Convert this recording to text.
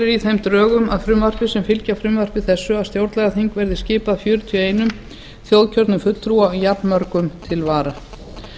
í þeim frumvarpsdrögum sem fylgja frumvarpi þessu er gert ráð fyrir að stjórnlagaþingið verði skipað fjörutíu og eitt þjóðkjörnum fulltrúa og jafnmörgum til vara